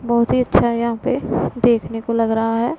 बहुत ही अच्छा यहां पे देखने को लग रहा है।